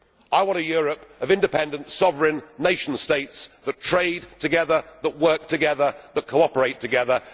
I want a Europe of independent, sovereign nation states that trade together, work together and cooperate together.